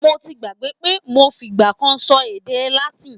Mo ti gbàgbé pé mo fìgbà kan sọ èdè Latin.